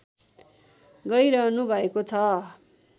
गैरहनु भएको छ